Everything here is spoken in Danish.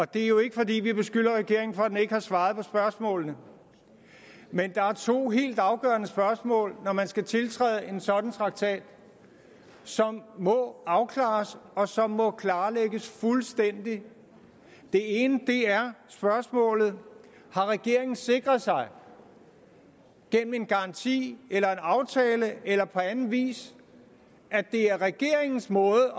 det er jo ikke fordi vi beskylder regeringen for at den ikke har svaret på spørgsmålene men der er to helt afgørende spørgsmål når man skal tiltræde en sådan traktat som må afklares og som må klarlægges fuldstændig det ene er spørgsmålet har regeringen sikret sig gennem en garanti eller en aftale eller på anden vis at det er regeringens måde